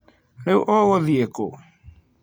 Rĩu ũgũthiĩ kũ?